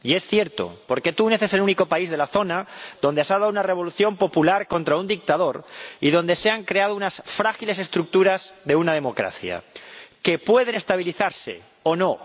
Y es cierto, porque Túnez es el único país de la zona donde se ha dado una revolución popular contra un dictador y donde se han creado unas frágiles estructuras de democracia, que pueden estabilizarse o no.